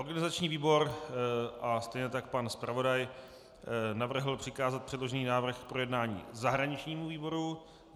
Organizační výbor a stejně tak pan zpravodaj navrhl přikázat předložený návrh k projednání zahraničnímu výboru.